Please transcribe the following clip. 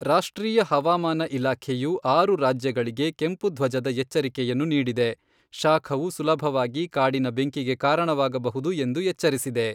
ರಾಷ್ಟ್ರೀಯ ಹವಾಮಾನ ಇಲಾಖೆಯು ಆರು ರಾಜ್ಯಗಳಿಗೆ ಕೆಂಪು ಧ್ವಜದ ಎಚ್ಚರಿಕೆಯನ್ನು ನೀಡಿದೆ, ಶಾಖವು ಸುಲಭವಾಗಿ ಕಾಡಿನ ಬೆಂಕಿಗೆ ಕಾರಣವಾಗಬಹುದು ಎಂದು ಎಚ್ಚರಿಸಿದೆ.